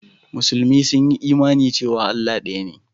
Musulmi sun yi imani cewa Allah ɗaya ne.